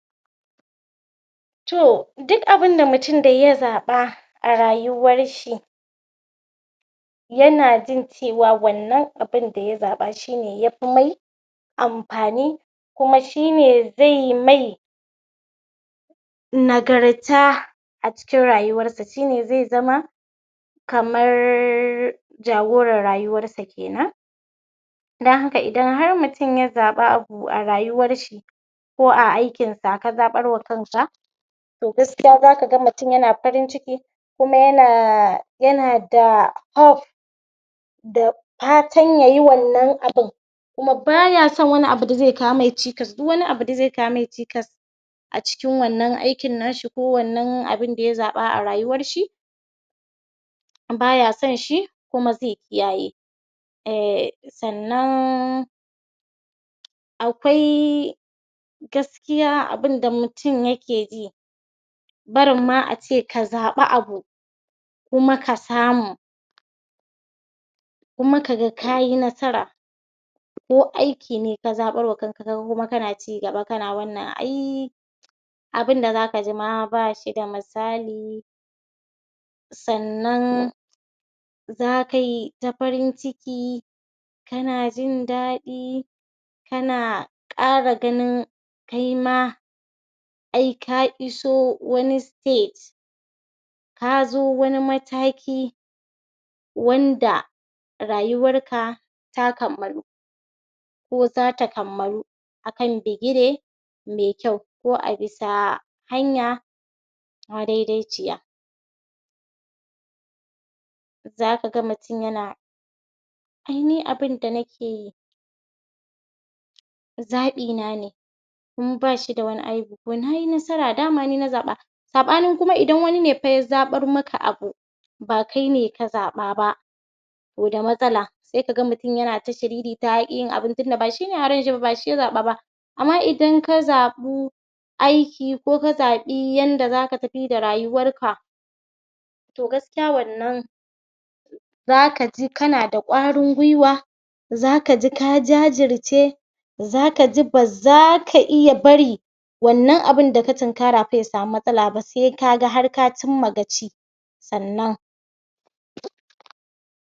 Hanyoyi na gargajiya da magunguna don shawo kan zafi mai tsanani. A lokacin zafi mai tsanani, al'umma da dama suna yin amfani da hanyoyin gargajiya da magunguna na shawo kan matsalalolin da zafi yake haifarwa. Amfani da ruwa mai kankara, daya daga cikin hanyoyi da aka saba amfani dasu wurin shawo kan zafi shine shan ruwa mai sanyi ko kankara a cikin al'ummar Hausawa, mutane suna yi amfani da kankara don rage zafin jiki. Amfani da ganyenyaki na gida, akwai ganyenyaki da dama da ake amfani da su a lokacin zafi, misali, danyen garan tsauni, yana daga cikin ganyenyaki masu amfani, ana iya juya waddanan ganyenyaki acikin ruwa sannan asha su, kuma a yi shayi da garin su. Amfani da kayan abinci, a lokacin zafi wasu kayan abinci na taimakawa wajan shawo kan zafi, misali cin kayan lanbu da su itatuwa, su kankana, Inibi, da lemu na taimakawa wajan samun tajibi da kuma kiyayewa a jiki Cin abinci mai sauki kamar shinkafa ko fura na iya kawar da gajiya da haifar sabo mai jiki. Hanyoyi hutu da natsuwa, a cikin al'ummar gargajiya, hutu wasu na da matukar mahimmanci a lokacin zafi, mutane suna samun wajan hutu a lokacin zafi mai tsanani, suna gujewa aikin da zai sasu su gaji. Amfani da kwayoyin tsafta, wasu lokuta ana amfani da kayan tsaftataccewa ko sinadaran gina jiki a kasance a cikin gargajiya don rage zafi, kwayoyin sune kamar su zuma, suna dauke da gina jiki da ke taimakawa wajen jin dadin jiki. Sannan,? mammatse jiki Masu masauki a cikin al'umma suna amfani da jiki don saukakawa wadanda ke fuskantar zafi mai tsanani. Manmatse jiki na iya zama daga fatakwalai, ko kuma wasu kayan daki da aka yi same don sanyi da su. Amfani da kayan gandun daji, kasashen Hausawa ana samun kayan gandun daji dake da matukar tasiri a lokutan zafi Kayan da aka yi amfani da su wajan shan zafi suna da tasiri mai kyau akan lafiyan mutum. Amfani da kayan busa, kayan busa suna daya daga cikin hanyoyin da ake amfani dasu a lokacin zafi, ana amfani da busa ko iska mai sanyi wajan juyawa, da kwantar da zafi. Hakanan ana amfanio da butulun wuta da aka hada da iskar busa don samun sanyi a lokacin zafi Gudanar da makaranta ko taron zamani, ana gudanar da taruka ko makaranta makarantar zamantakewa a lokacin zafi don ilmantar da al'umma kan hanyoyi shawo Wannan yana karawa mutane ilimin da kuma hanyoyi da zasu bi don rage tasirin zafin rana. Ta hanyar gudanar da taron ilimi. mutane suna samun hanyoyi da dabaru da zasu taimaka masu a lokacin zafi.